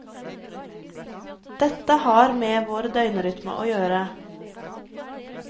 Dette har med vår døgnrytme å gjøre.